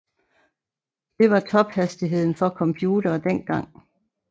Det var tophastigheden for computere dengang